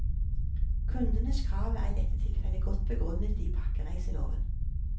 Kundenes krav er i dette tilfellet godt begrunnet i pakkereiseloven.